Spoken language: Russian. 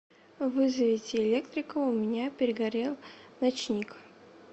вызовите электрика у меня перегорел ночник